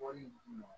Wari di ma